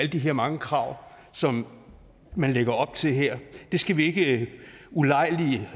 de her mange krav som man lægger op til her det skal vi ikke ulejlige